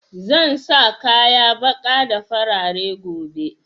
Zan sa kaya ɓaƙa da farare gobe